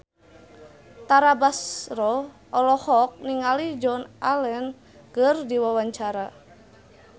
Tara Basro olohok ningali Joan Allen keur diwawancara